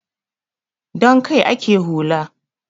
Don kai ake hula.